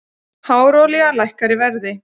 Hráolía lækkar í verði